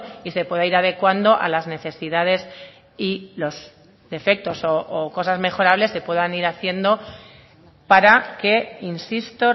y se pueda ir adecuando a las necesidades y los defectos o cosas mejorables se puedan ir haciendo para que insisto